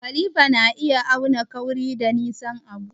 Kalifa na iya auna kauri da nisan abu.